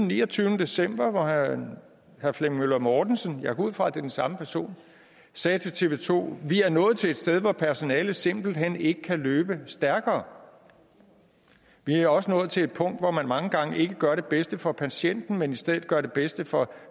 niogtyvende december hvor herre flemming møller mortensen jeg går ud fra det er den samme person sagde til tv 2 vi er nået til et sted hvor personalet simpelt hen ikke kan løbe stærkere vi er også nået til et punkt hvor man mange gange ikke gør det bedste for patienten men i stedet gør det bedste for